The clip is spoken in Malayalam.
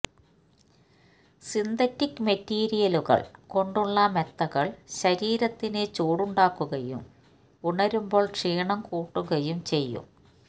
സിന്തറ്റിക് മെറ്റീരിയലുകൾ കൊണ്ടുള്ള മെത്തകൾ ശരീരത്തിന് ചൂടുണ്ടാക്കുകയും ഉണരുമ്പോൾ ക്ഷീണം കൂട്ടുകയും ചെയ്യും